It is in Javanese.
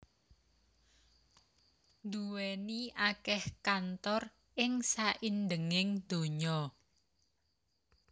nduwèni akèh kantor ing saindhenging donya